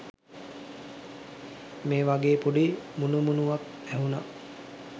මේ වගේ පොඩි මුනුමුනුවක් ඇහුනා